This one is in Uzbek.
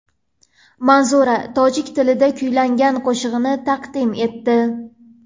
Manzura tojik tilida kuylangan qo‘shig‘ini taqdim etdi.